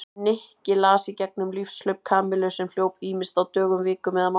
Nikki las í gegnum lífshlaup Kamillu sem hljóp ýmist á dögum, vikum eða mánuðum.